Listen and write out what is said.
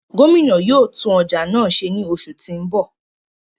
Gomina yóò tun ọja náa ṣe ni oṣu ti n bọ.